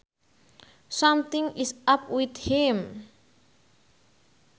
Something is up with him